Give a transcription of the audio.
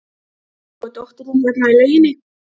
Svo er dóttirin hérna í lauginni.